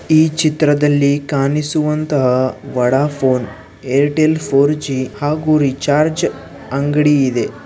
ಈ ಚಿತ್ರದಲ್ಲಿ ಕಾಣಿಸುವಂತಹ ವಡಾಪೋನ್ ಏರ್ಟೆಲ್ ಫೋರ್ ಜಿ ಹಾಗು ರಿಚಾರ್ಜ್ ಅಂಗಡಿ ಇದೆ.